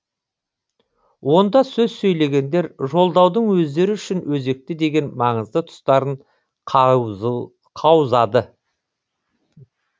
онда сөз сөйлегендер жолдаудың өздері үшін өзекті деген маңызды тұстарын қаузады